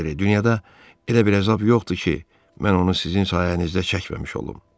Padri, dünyada elə bir əzab yoxdur ki, mən onu sizin sayənizdə çəkməmiş olum.